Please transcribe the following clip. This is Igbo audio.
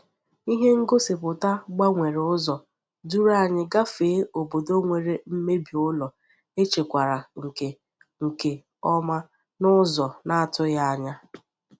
Ihe ngosipụta gbanwere ụzọ duru anyị gafee obodo nwere mmebi ụlọ echekwara nke nke ọma n’ụzọ na-atụghị anya.